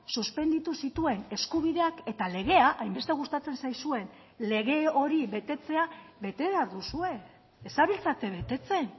suspenditu zituen eskubideak eta legea hainbeste gustatzen zaizuen lege hori betetzea bete behar duzue ez zabiltzate betetzen